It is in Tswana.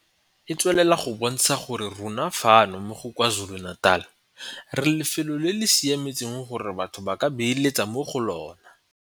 E tswelela go bontsha gore rona fano mo KwaZulu-Natal re lefelo le le siametseng gore batho ba ka beeletsa mo go lona.